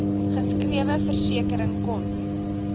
geskrewe versekering kon